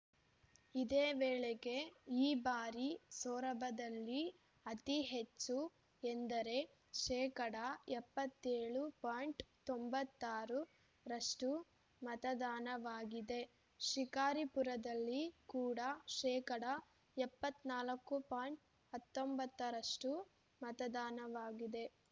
ಇದೇ ವೇಳೆಗೆ ಈ ಬಾರಿ ಸೊರಬದಲ್ಲಿ ಅತಿ ಹೆಚ್ಚು ಎಂದರೆ ಶೇಕಡಾ ಎಪ್ಪತ್ಯೋಳು ಪಾಯಿಂಟ್ ತೊಂಬತ್ತಾರರಷ್ಟು ಮತದಾನವಾಗಿದೆ ಶಿಕಾರಿಪುರದಲ್ಲಿ ಕೂಡ ಶೇಕಡಾ ಎಪ್ಪತ್ತ್ ನಾಲ್ಕು ಪಾಯಿಂಟ್ ಹತ್ತೊಂಬತ್ತರಷ್ಟು ಮತದಾನವಾಗಿದೆ